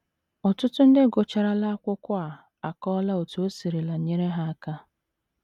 Ọtụtụ ndị gụcharala akwụkwọ a akọọla otú o sirila nyere ha aka.